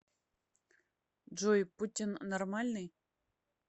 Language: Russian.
джой путин нормальный